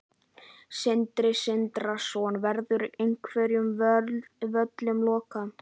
Sindri Sindrason: Verður einhverjum völlum lokað?